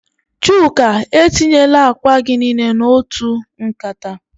Chuka, etinyela akwa gi nile n'otu nkata.